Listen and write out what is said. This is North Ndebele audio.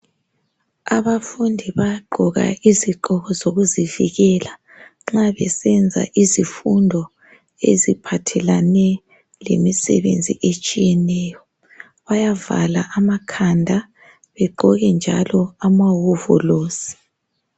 Abafundi bayagqoka izigqoko zokuzivikela nxa besenza izifundo eziphathelane lemisebenzi etshiyeneyo , bayavala amakhanda begqoke njalo ama hovolosi